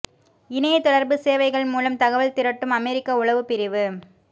இணையத் தொடர்பு சேவைகள் மூலம் தகவல் திரட்டும் அமெரிக்க உளவுப் பிரிவு